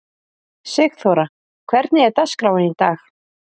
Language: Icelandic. Sigþóra, hvernig er dagskráin í dag?